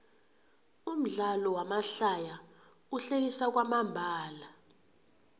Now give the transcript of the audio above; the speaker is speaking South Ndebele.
umdlalo wamahlaya uhlekisa kwamambala